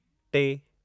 टे